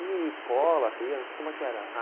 E escola, você ia como é que era?